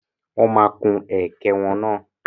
Wọ́n máa kun ẹ̀kẹ́ wọn náà.